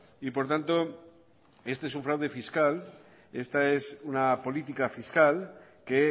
y por tanto este es un fraude fiscal esta es una política fiscal que